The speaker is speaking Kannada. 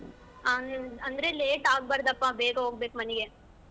ಅಂದ್~ ಅಂದ್ರೆ late ಆಗ್ಬಾರ್ದಪ ಬೇಗ ಹೋಗ್ಬೇಕು ಮನಿಗೆ.